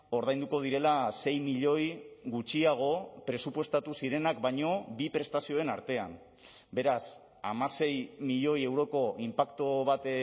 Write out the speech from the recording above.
ordainduko direla sei milioi gutxiago presupuestatu zirenak baino bi prestazioen artean beraz hamasei milioi euroko inpaktu bat